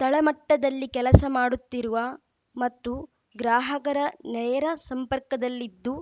ತಳಮಟ್ಟದಲ್ಲಿ ಕೆಲಸ ಮಾಡುತ್ತಿರುವ ಮತ್ತು ಗ್ರಾಹಕರನೇರ ಸಂಪರ್ಕದಲ್ಲಿದ್ದು